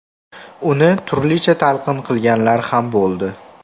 Uni turlicha talqin qilganlar ham bo‘ldi.